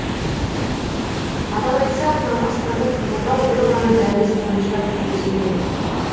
атап айтсақ науқастарды қабылдау бір ғана дәліз бойынша жүргізілген